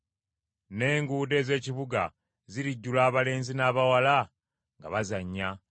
N’enguudo ez’ekibuga zirijjula abalenzi n’abawala nga bazannya.”